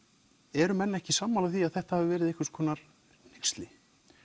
eru menn ekki sammála því að þetta hafi verið einhvers konar hneyksli